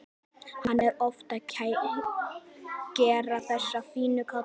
Hann er oft að keyra þessa fínu kalla.